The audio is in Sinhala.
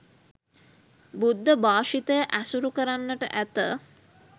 බුද්ධ භාෂිතය ඇසුරු කරන්නට ඇත